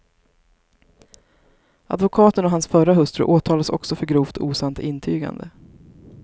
Advokaten och hans förra hustru åtalas också för grovt osant intygande.